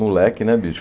Moleque, né, bicho?